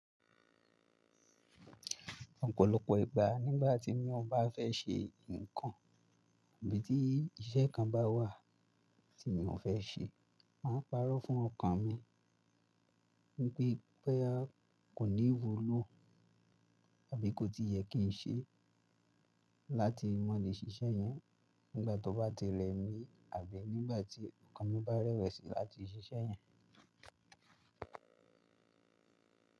Ọ̀pọ̀lọpọ̀ ìgbà nígbà tí mi ò bá fẹ́ ṣe nǹkan ìbí tí iṣẹ́ kàn bá wà tí mi ò fẹ́ ṣe, máa ń parọ́ fún ọkàn mi wípé bóyá kò ní wúlò àbí kò tí yẹ kí n ṣe, láti mọ lè ṣiṣẹ́ yẹn. Nígbà tọ bá tí rẹ mí, àbí nígbà ti ọkan mí bá rẹwẹsi lati sí ṣe yen.